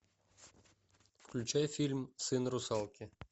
включай фильм сын русалки